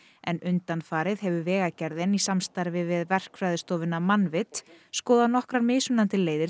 en undanfarið hefur Vegagerðin í samstarfi við verkfræðistofuna Mannvit skoðað nokkrar mismunandi leiðir